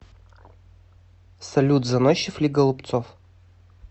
салют заносчив ли голубцов